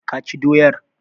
Ka ci doyar?